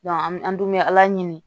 an bɛ an dun bɛ ala ɲini